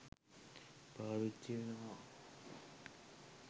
පාවිච්චි වෙනවා.